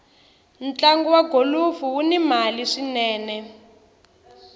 ntlagu wa golufu wuni mali swinene